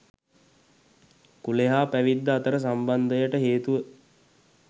කුලය හා පැවිද්ද අතර සම්බන්දයට හේතුව